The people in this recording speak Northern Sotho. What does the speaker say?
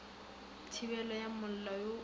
thibelo ya mollo wo o